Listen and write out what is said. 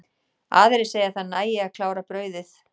Aðrir segja að það nægi að klára brauðið.